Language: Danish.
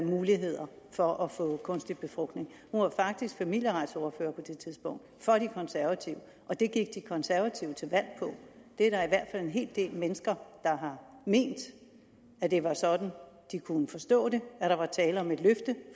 muligheder for at få kunstig befrugtning hun var faktisk familieretsordfører på det tidspunkt og det gik de konservative til valg på der er en hel del mennesker har ment at det var sådan de kunne forstå det at der var tale om et løfte